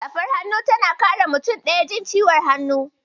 Safar hannu tana kare mutum ɗaya jin ciwon hannu.